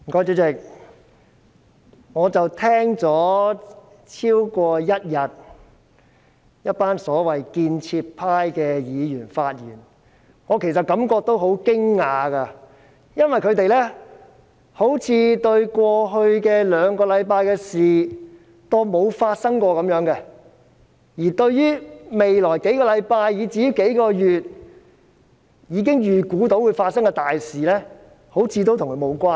主席，我聽了一群所謂建設派議員發言超過一天，其實真的感到很驚訝，因為他們好像把過去兩星期的事情當過沒有發生過般，而一些預計將於未來數星期至數個月發生的大事，也好像與他們無關似的。